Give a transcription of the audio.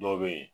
Dɔw be yen